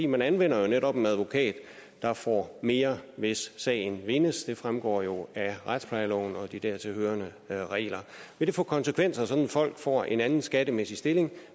man anvender jo netop en advokat der får mere hvis sagen vindes det fremgår jo af retsplejeloven og de dertil hørende regler vil det få konsekvenser sådan at folk får en anden skattemæssig stilling